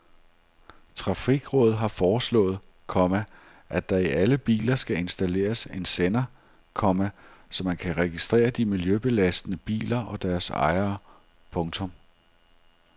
Trafikrådet har foreslået, komma at der i alle biler skal installeres en sender, komma så man kan registrere de miljøbelastende biler og deres ejere. punktum